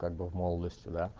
как бы в молодости да